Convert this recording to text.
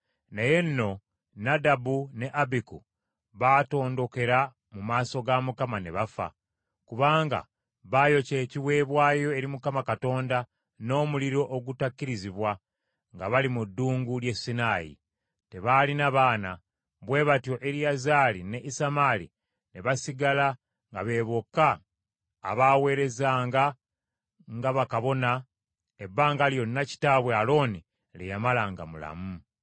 Naye nno Nadabu ne Abiku baatondokera mu maaso ga Mukama ne bafa, kubanga baayokya ekiweebwayo eri Mukama Katonda n’omuliro ogutakkirizibwa nga bali mu ddungu ly’e Sinaayi. Tebaalina baana; bwe batyo, Eriyazaali ne Isamaali ne basigala nga be bokka abaaweerezanga nga bakabona ebbanga lyonna kitaabwe Alooni lye yamala nga mulamu.